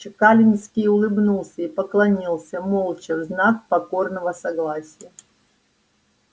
чекалинский улыбнулся и поклонился молча в знак покорного согласия